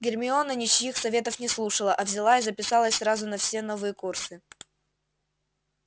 гермиона ничьих советов не слушала а взяла и записалась сразу на все новые курсы